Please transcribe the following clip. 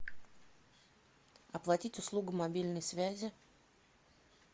оплатить услугу мобильной связи